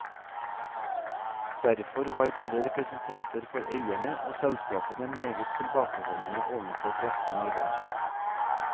Derfor var både representanter for eierne og selskapene meget tilbakeholdne overfor pressen i går.